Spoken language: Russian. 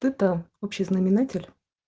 тупо общий знаменатель